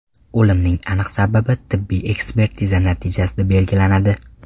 O‘limning aniq sababi tibbiy ekspertiza natijasida belgilanadi.